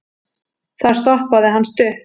þar stoppaði hann stutt